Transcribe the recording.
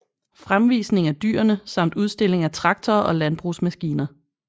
Fremvisning af dyrene samt udstilling af traktorer og landbrugsmaskiner